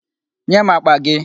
Nye m àkpà gị!